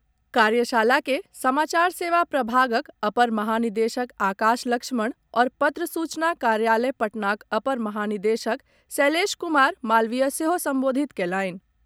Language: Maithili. कार्यशाला के समाचार सेवा प्रभागक अपर महानिदेशक आकाश लक्ष्मण आओर पत्र सूचना कार्यालय पटनाक अपर महानिदेशक शैलेश कुमार मालवीय सेहो संबोधित कयलनि।